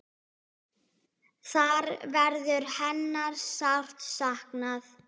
Þar verður hennar sárt saknað.